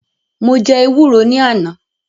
Mo jẹ́ ewúro ní àná